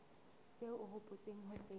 seo o hopotseng ho se